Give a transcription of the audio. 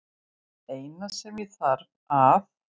Það eina sem ég þarf að